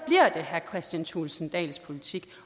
herre kristian thulesen dahls politik